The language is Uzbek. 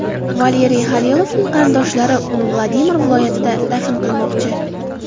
Valeriy Xalilovning qarindoshlari uni Vladimir viloyatida dafn qilmoqchi.